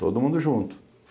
Todo mundo junto.